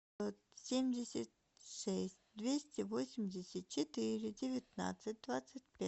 семьдесят шесть двести восемьдесят четыре девятнадцать двадцать пять